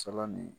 Sɔɔni